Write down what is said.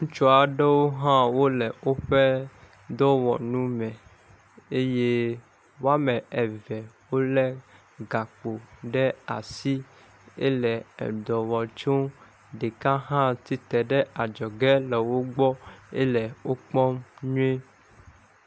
Ŋutsu aɖewo hã wo le woƒe dɔwɔnu me eye wɔme eve wo le gakpo ɖe asi ele edɔ wɔ tso nu. Ɖeka hã tsitre ɖe adzɔge le wo gbɔ ele wokpɔm nyuie.